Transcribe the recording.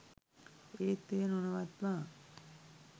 ඒත් එය නොනවත්වා